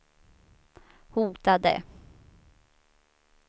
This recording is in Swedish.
hotade